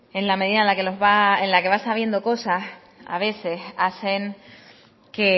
en la medida en que vas sabiendo cosas a veces hacen que